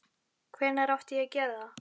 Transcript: Hvenær átti ég að gera það?